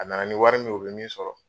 A nana ni wari min ye, o be min sɔrɔ